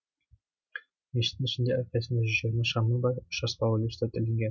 мешіттің ішінде әрқайсысында жүз жиырма шамы бар үш аспалы люстра ілінген